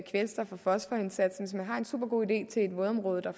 kvælstof og fosforindsatsen hvis man har en supergod idé til et vådområde